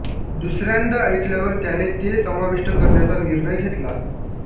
दुसऱ्यांदा ऐकल्यावर त्याने ते समाविष्ट करण्याचा निर्णय घेतला